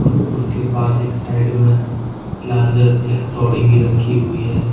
उनके पास एक साइड में लाल कलर की हथौड़ी भी रखी हुई है।